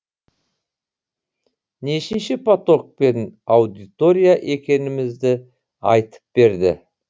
нешінші поток пен аудитория екенімізді айтып берді